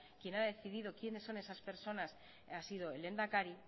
quien ha decidido quiénes son esas personas ha sido el lehendakari